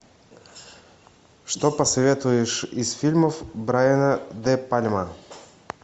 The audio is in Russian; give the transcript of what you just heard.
что посоветуешь из фильмов брайана де пальма